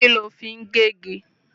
Kí ló fi ń gé igi?